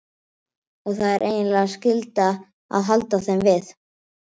Og það er eiginlega skylda að halda þeim við.